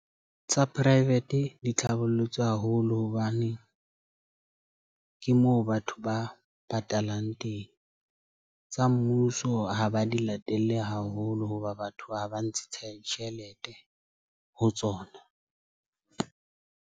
Tsa Private di tlhabollotswe haholo hobane ke moo batho ba patalang teng. Tsa mmuso ha ba di latelle haholo hoba batho ha ba ntshe tjhelete ho tsona.